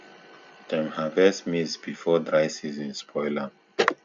dem harvest maize before dry season spoil am